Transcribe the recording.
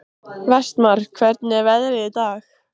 Vestmar, hvernig er veðrið í dag?